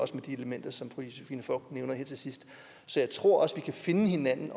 med de som fru josephine fock nævner her til sidst så jeg tror også at vi kan finde hinanden